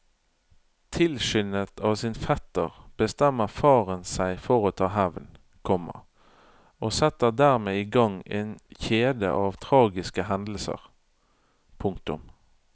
Tilskyndet av sin fetter bestemmer faren seg for å ta hevn, komma og setter dermed i gang en kjede av tragiske hendelser. punktum